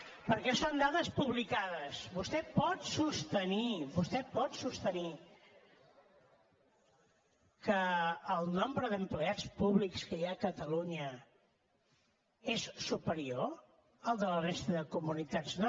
perquè són dades publicades vostè pot sostenir vostè pot sostenir que el nombre d’empleats públics que hi ha a catalunya és superior al de la resta de comunitats no no